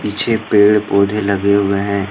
पीछे पेड़ पौधे लगे हुए है।